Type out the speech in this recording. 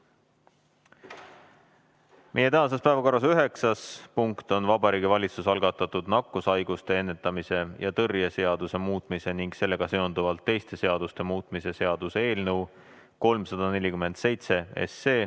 Meie tänases päevakorras üheksas punkt on Vabariigi Valitsuse algatatud nakkushaiguste ennetamise ja tõrje seaduse muutmise ning sellega seonduvalt teiste seaduste muutmise seaduse eelnõu 347.